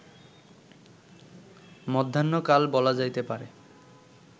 মধ্যাহ্নকাল বলা যাইতে পারে